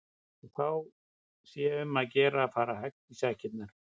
Og þá sé um að gera að fara hægt í sakirnar.